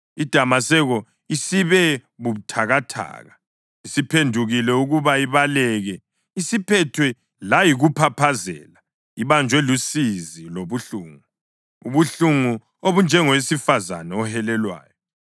IDamaseko isibe buthakathaka, isiphendukile ukuba ibaleke, isiphethwe layikuphaphazela; ibanjwe lusizi lobuhlungu, ubuhlungu obunjengowesifazane ohelelwayo.